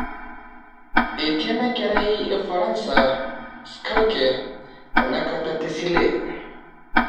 Etii inakerai orfaransa schalke tenatakata tesile